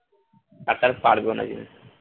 কাতার পারবেও না যেহেতু